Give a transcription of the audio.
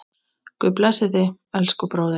Guð blessi þig, elsku bróðir.